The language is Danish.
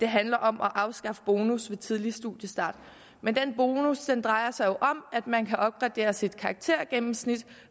handler om at afskaffe bonus ved tidlig studiestart men den bonus drejer sig jo om at man kan opgradere sit karaktergennemsnit